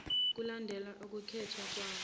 kulandela ukwethulwa kwawo